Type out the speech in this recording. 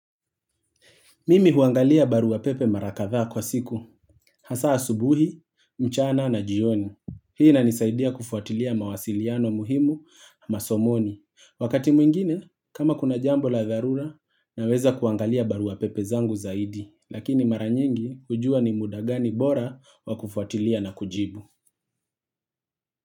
Mimi huangalia barua pepe mara kadhaa kwa siku. Hasa asubuhi, mchana na jioni. Hii inanisaidia kufuatilia mawasiliano muhimu masomoni. Wakati mwingine, kama kuna jambo la dharura, naweza kuangalia barua pepe zangu zaidi. Lakini mara nyingi hujua ni muda gani bora wa kufuatilia na kujibu.